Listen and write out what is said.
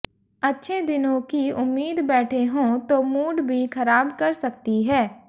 अच्छे दिनों की उम्मीद बैठे हों तो मूड भी खराब कर सकती है